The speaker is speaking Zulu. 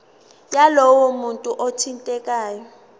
yalowo muntu othintekayo